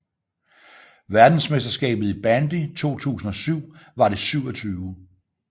Verdensmesterskabet i bandy 2007 var det 27